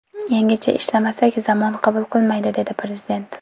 Yangicha ishlamasak, zamon qabul qilmaydi”, dedi Prezident.